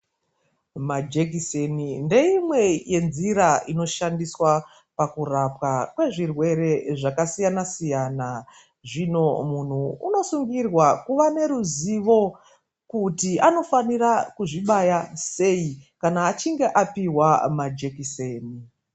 Majekiseni ndeyimwe yenzira inoshandiswa pakurapwa kwezvirwere zvakasiyana-siyana. Zvino munhu unosungirwa kuva neruzivo kuti anofanira kuzvibaya seyi kana achinge apihwa majekiseni.